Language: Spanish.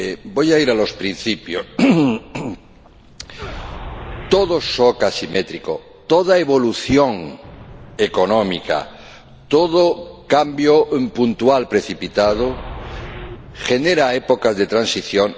Voy a ir a los principios todo shock asimétrico, toda evolución económica, todo cambio puntual precipitado genera épocas de transición